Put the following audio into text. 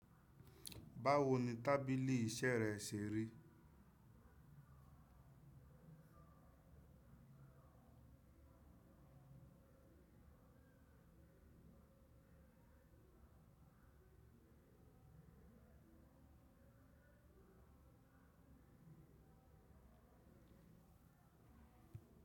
Báwo ni tábìlì iṣẹ́ rẹ ṣe rí?